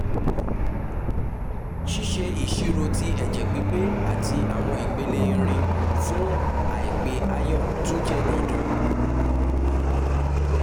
ṣiṣe iṣiro ti ẹjẹ pipe ati awọn ipele irin fun aipe iron tun jẹ dandan